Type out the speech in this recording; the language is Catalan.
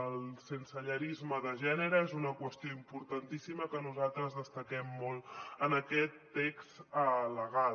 el sensellarisme de gènere és una qüestió importantíssima que nosaltres destaquem molt en aquest text legal